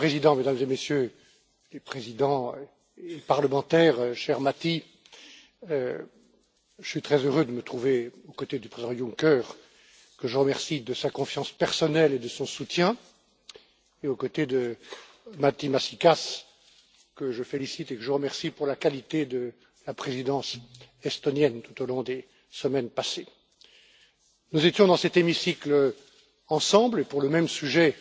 Monsieur le Président, Mesdames et Messieurs les présidents et parlementaires, cher Matti, je suis très heureux de me trouver aux côtés du président Juncker, que je remercie de sa confiance personnelle et de son soutien, et aux côtés de Matti Maasikas, que je félicite et remercie pour la qualité de la présidence estonienne, tout au long des semaines passées. Nous étions réunis au sein de cet hémicycle pour débattre du même sujet